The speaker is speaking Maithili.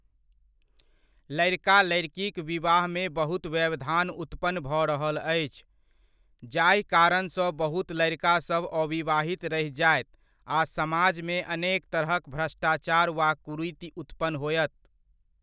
लड़िका लड़िकीक विवाहमे बहुत व्यवधान उत्पन्न भऽ रहल अछि, जाहि कारणसँ बहुत लड़िकासभ अविवाहित रहि जायत आ समाजमे अनेक तरहक भ्रष्टाचार वा कुरीति उत्पन्न होयत।